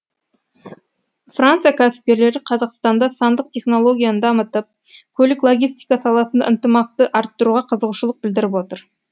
франция кәсіпкерлері қазақстанда сандық технологияны дамытып көлік логистика саласында ынтымақты арттыруға қызығушылық білдіріп отыр